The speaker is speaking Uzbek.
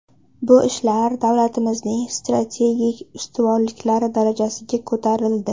Bu ishlar davlatimizning strategik ustuvorliklari darajasiga ko‘tarildi.